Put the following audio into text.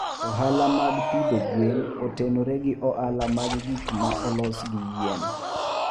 Ohala mag pidho gwen otenore gi ohala mag gik ma olos gi yien.